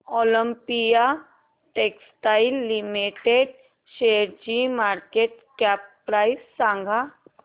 Olympia textiles limited शेअरची market cap price सांगा